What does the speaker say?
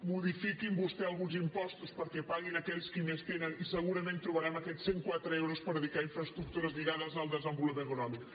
modifiquin vostès alguns impostos perquè paguin aquells qui més tenen i segurament trobaran aquests cent i quatre milions d’euros per dedicar a infraestructures lligades al desenvolupament econòmic